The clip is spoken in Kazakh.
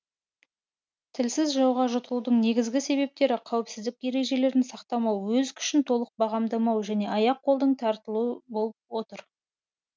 тілсіз жауға жұтылудың негізгі себептері қауіпсіздік ережелерін сақтамау өз күшін толық бағамдамау және аяқ қолдың тартылуы болып отыр